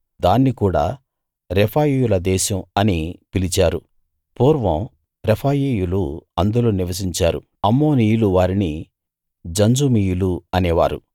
దాన్ని కూడా రెఫాయీయుల దేశం అని పిలిచారు పూర్వం రెఫాయీయులు అందులో నివసించారు అమ్మోనీయులు వారిని జంజుమీయులు అనేవారు